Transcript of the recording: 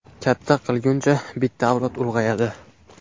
katta qilguncha bitta avlod ulg‘ayadi.